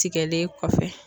Tigɛlen kɔfɛ